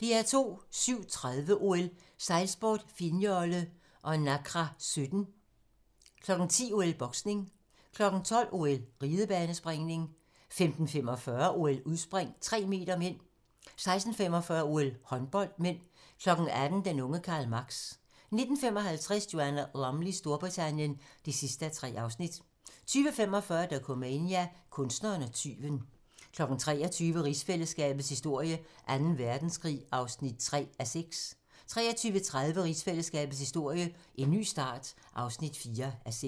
07:30: OL: Sejlsport, finjolle og Nacra 17 10:00: OL: Boksning 12:00: OL: Ridebanespringning 15:45: OL: Udspring, 3m (m) 16:45: OL: Håndbold (m) 18:00: Den unge Karl Marx 19:55: Joanna Lumleys Storbritannien (3:3) 20:45: Dokumania: Kunstneren og tyven 23:00: Rigsfællesskabets historie: Anden Verdenskrig (3:6) 23:30: Rigsfællesskabets historie: En ny start (4:6)